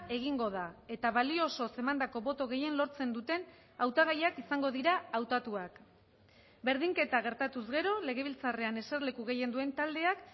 egingo da eta balio osoz emandako boto gehien lortzen duten hautagaiak izango dira hautatuak berdinketa gertatuz gero legebiltzarrean eserleku gehien duen taldeak